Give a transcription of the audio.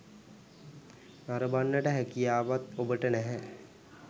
නරඹන්නට හැකියාවක් ඔබට නැහැ.